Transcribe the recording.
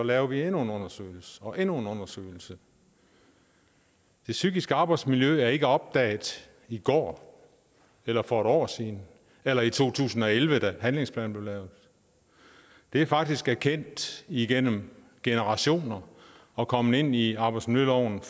laver vi endnu en undersøgelse og endnu en undersøgelse det psykiske arbejdsmiljø er ikke opdaget i går eller for et år siden eller i to tusind og elleve da handlingsplanen blev lavet det er faktisk erkendt igennem generationer og kommet ind i i arbejdsmiljøloven